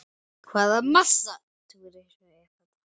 Hvaða massa túrismi er þetta?